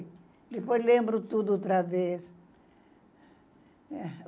Depois lembro tudo outra vez.